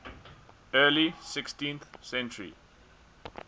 early sixteenth century